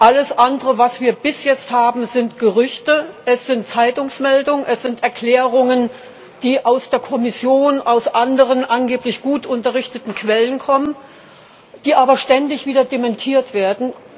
Alles andere, was wir bis jetzt haben, sind Gerüchte, es sind Zeitungsmeldungen, es sind Erklärungen, die aus der Kommission, aus anderen, angeblich gut unterrichteten Quellen kommen, die aber ständig wieder dementiert werden.